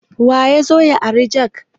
Waya zo ya ari jak?